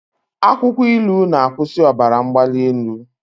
Akwụkwọ ilu na-akwụsị ọbara mgbali elu.